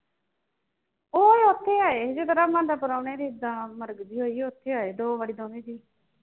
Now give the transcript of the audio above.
ਆਏ ਸੀ ਦੇ ਪ੍ਰਾਹੁਣੇ ਜਿੱਦਾਂ ਮਰਗ ਜੀ ਹੋਈ ਹੀ ਉਥੇ ਆਏ ਦੋ ਵਾਰੀ